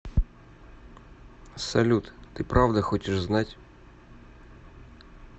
салют ты правда хочешь знать